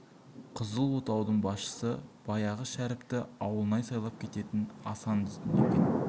қызыл отаудың басшысы баяғы шәріпті ауылнай сайлап кететін асан дейтін екен